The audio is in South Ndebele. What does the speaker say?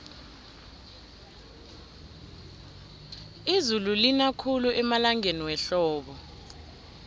izulu lina khulu emalangeni wehlobo